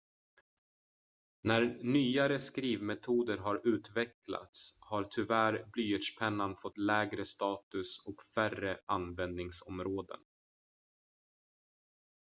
när nyare skrivmetoder har utvecklats har tyvärr blyertspennan fått lägre status och färre användningsområden